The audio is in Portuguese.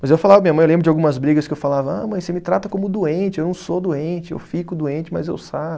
Mas eu falava, minha mãe, eu lembro de algumas brigas que eu falava, ah, mãe, você me trata como doente, eu não sou doente, eu fico doente, mas eu saro.